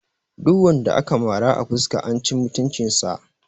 Duk wanda aka mara a fuska an ci mutunci sa